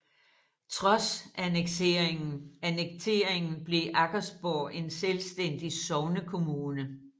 Trods annekteringen blev Aggersborg en selvstændig sognekommune